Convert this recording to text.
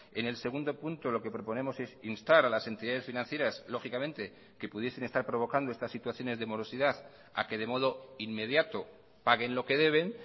en el segundo punto lo que proponemos es instar a las entidades financieras lógicamente que pudiesen estar provocando estas situaciones de morosidad a que de modo inmediato paguen lo que deben